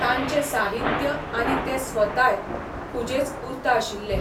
तांचें साहित्य आनी ते स्वताय खुजेच उरता आशिल्ले.